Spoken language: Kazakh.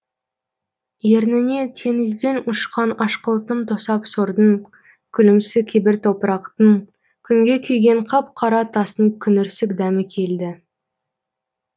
ерніне теңізден ұшқан ашқылтым тосап сордың күлімсі кебір топырақтың күнге күйген қап қара тастың күңірсік дәмі келді